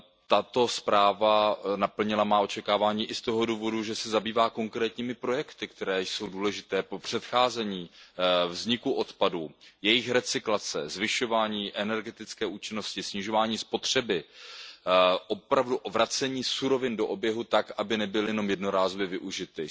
Tato zpráva naplnila má očekávání i z toho důvodu, že se zabývá konkrétními projekty, které jsou důležité pro předcházení vzniku odpadů, jejich recyklaci, zvyšování energetické účinnosti, snižování spotřeby, opravdu vracení surovin do oběhu tak, aby nebyly jen jednorázově využity.